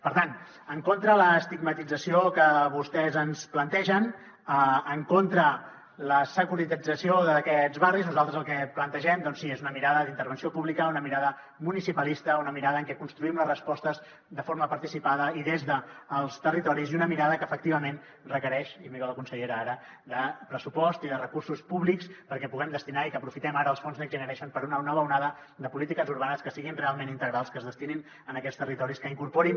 per tant en contra de l’estigmatització que vostès ens plantegen en contra de la securetització d’aquests barris nosaltres el que plantegem doncs sí és una mirada d’intervenció pública una mirada municipalista una mirada en què construïm les respostes de forma participada i des dels territoris i una mirada que efectivament requereix i miro la consellera ara pressupost i recursos públics perquè els hi puguem destinar i que aprofitem ara els fons next generation per a una nova onada de polítiques urbanes que siguin realment integrals que es destinin a aquests territoris que incorporin